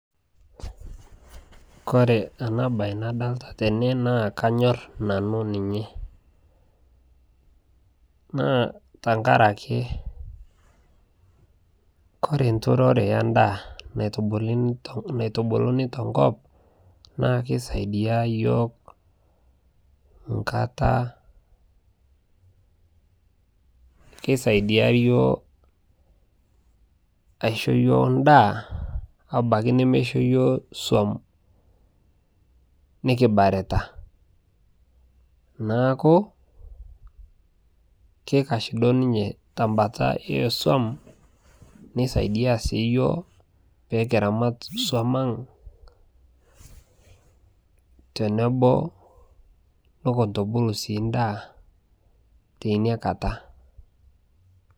Kore ana bai nadolita tene naa kanyorr nanu ninye naa tangarakee kore nturore endaa naitubuluni tenkop naa keisaidia yioo nkata, keisaidia yioo aisho yioo ndaa abaki nemeisho yioo suom nikibarita. Naaku keikash duo ninye tembata esuom neisaidia sii yioo pikiramat suom ang' tenebo nunkutubulu sii ndaa teinia kataa.